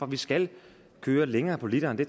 vi skal køre længere på literen det